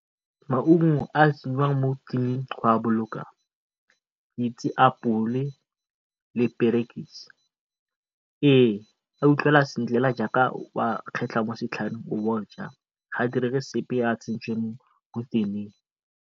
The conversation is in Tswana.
Maungo a a tsenngwang go a boloka le perekise. Ee, a utlwagala sentle jaaka o a kgetlha mo setlhareng o bo oja. Ga a direge sepe tsentswe ko